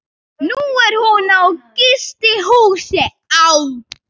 Nú er hún á gistihúsi á